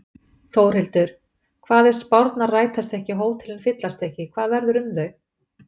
Þórhildur: Hvað ef að spárnar rætast ekki og hótelin fyllast ekki, hvað verður um þau?